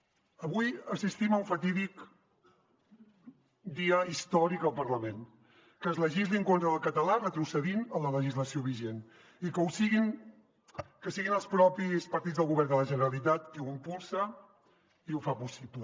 avui assistim a un fatídic dia històric al parlament que es legisli en contra del català retrocedint en la legislació vigent i que siguin els propis partits del govern de la generalitat qui ho impulsa i ho fan possible